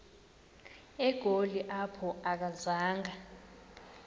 egoli apho akazanga